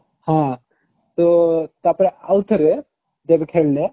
ହଁ ତ ତାପରେ ଆଉ ଥରେ ଯେବେ ଖେଳିଲେ